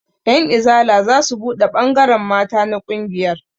Ƴan izala zasu buɗe ɓangaren mata na ƙungiyar